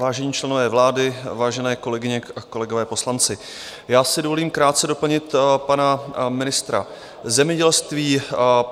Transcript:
Vážení členové vlády, vážené kolegyně a kolegové poslanci, já si dovolím krátce doplnit pana ministra zemědělství.